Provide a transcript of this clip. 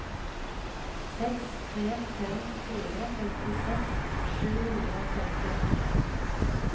seks tre fem fire femtiseks sju hundre og femtiåtte